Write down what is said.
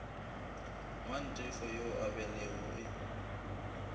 mantefo yo a belegwego e